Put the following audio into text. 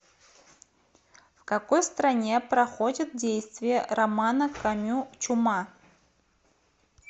в какой стране проходит действие романа камю чума